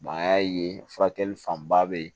an y'a ye furakɛli fanba bɛ yen